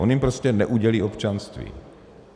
On jim prostě neudělí občanství.